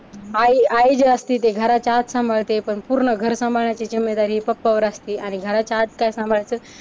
आई आई जी असती ते घराच्या आत सांभाळते पण पूर्ण घर सांभाळण्याची जिम्मेदारी पप्पावर असते. आणि घराच्या आत काय सांभाळायचं